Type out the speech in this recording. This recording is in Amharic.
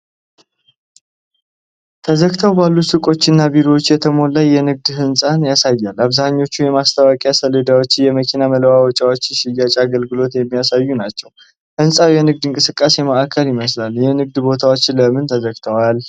ተዘግተው ባሉ ሱቆች እና ቢሮዎች የተሞላ የንግድ ሕንፃን ያሳያል። አብዛኞቹ የማስታወቂያ ሰሌዳዎች የመኪና መለዋወጫዎች ሽያጭ አገልግሎት የሚያሳዩ ናቸው። ሕንፃው የንግድ እንቅስቃሴ ማዕከል ይመስላል። የንግድ ቦታዎቹ ለምን ተዘግተዋል?